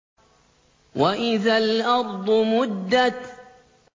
وَإِذَا الْأَرْضُ مُدَّتْ